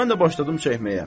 Mən də başladım çəkməyə.